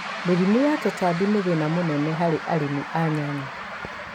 Mĩrimu na tutabi nĩ thĩna mũ nene harĩ arĩmi a nyanya.